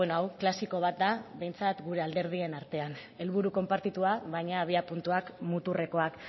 hau klasiko bat da behintzat gure alderdien artean helburu konpartitua baina abiapuntuak muturrekoak